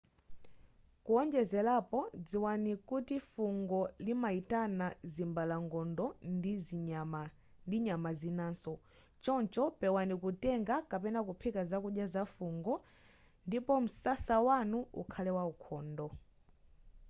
kuwonjezerapo dziwani kuti fungo limayitana zimbalangondo ndi nyama zinaso choncho pewani kutenga kapena kuphika zakudya za fungo ndipo msasa wanu ukhale waukhondo